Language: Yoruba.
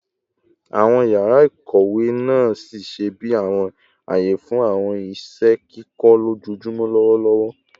Awọn yara ikowe naa ṣiṣẹ bi awọn aye fun awọn iṣẹ ikẹkọ lojoojumọ lọwọlọwọ